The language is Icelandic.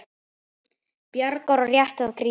Bjargar og rétti að Grími.